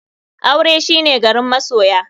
Aure shine garin masoya.